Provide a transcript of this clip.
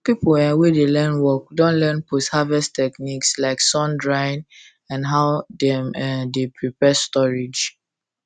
people um wey dey learn work don learn post harvest techniques like sun drying and how dem um dey prepare storage